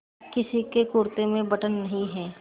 किसी के कुरते में बटन नहीं है